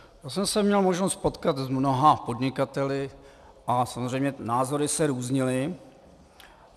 Já jsem se měl možnost potkat s mnoha podnikateli a samozřejmě názory se různily.